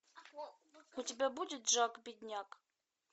у тебя будет жак бедняк